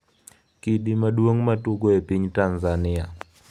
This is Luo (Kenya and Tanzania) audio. Kidi maduong' matugo e piny Tanzania